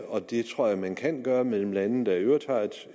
og det tror jeg man kan gøre mellem lande der i øvrigt har